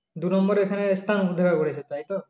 দুনম্বরে এখানে স্থান করেছে তাই তো